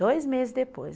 Dois meses depois.